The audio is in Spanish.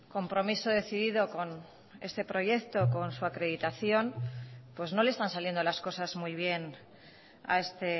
compromiso decidido con este proyecto con su acreditación pues no le están saliendo las cosas muy bien a este